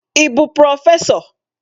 Ị bụ prọfesọ?